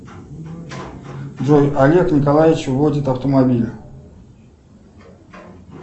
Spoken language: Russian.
джой олег николаевич водит автомобиль